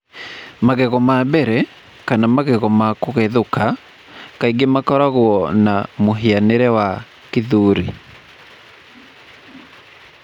Magego ma mbere, kana magego ma kũgethũka, kaingĩ makoragwo na mũhianĩre wa 'gĩthũri.'